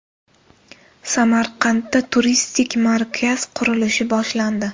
Samarqandda turistik markaz qurilishi boshlandi.